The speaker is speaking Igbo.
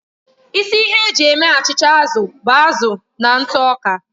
Isi ihe eji eme achịcha azụ bụ azụ na ntụ ọka.